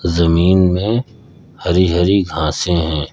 जमीन में हरी हरी घासें हैं।